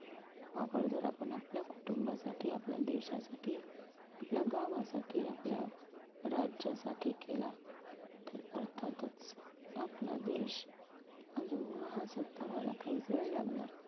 वापर जर आपण आपल्या कुटुंबासाठी, आपल्या देशासाठी, आपल्या गावासाठी, आपल्या राज्यासाठी केला तर अर्थातच आपला देश अजून महासत्ता व्हायला काही वेळ लागणार